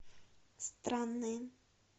странные